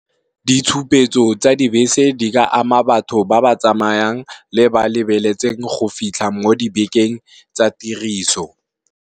Ditshupetso tsa dibese di ka ama batho ba ba tsamayang le ba lebeletseng go fitlha mo dibekeng tsa tiriso.